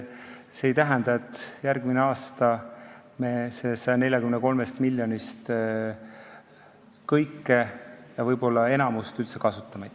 See ei tähenda, et järgmine aasta me sellest 143 miljonist kõike, isegi võib-olla enamikku kasutame.